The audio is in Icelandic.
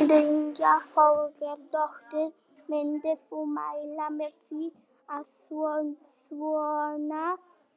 Brynja Þorgeirsdóttir: Myndir þú mæla með því að svona